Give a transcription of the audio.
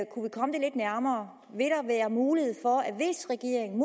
kunne vi komme det lidt nærmere vil der være mulighed for at hvis regeringen